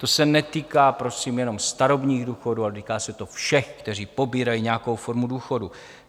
To se netýká prosím jenom starobních důchodů, ale týká se to všech, kteří pobírají nějakou formu důchodu.